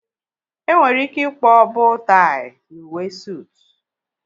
Enwere ike ịkpọọ boo tai n'uwe sootu